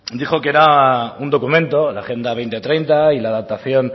dijo que era un documento la agenda dos mil treinta y la adaptación